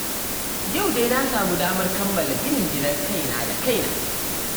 Yau dai na samu damar kammala ginin gidan kaina da kaina